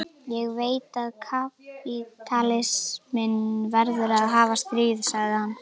Ég veit að kapítalisminn verður að hafa stríð, sagði hann.